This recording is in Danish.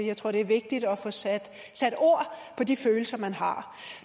jeg tror det er vigtigt at få sat ord på de følelser man har